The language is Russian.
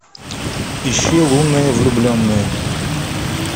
ищи лунные влюбленные